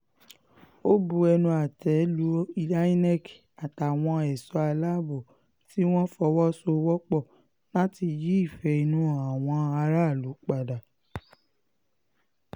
ó bu ẹnu àtẹ́ lu inec àtàwọn ẹ̀ṣọ́ aláàbò tí wọ́n fọwọ́ sowọ́pọ̀ láti yí ìfẹ́ inú àwọn aráàlú padà